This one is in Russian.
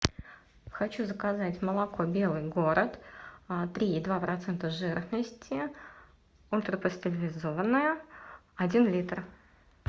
хочу заказать молоко белый город три и два процента жирности ультрапастеризованное один литр